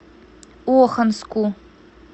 оханску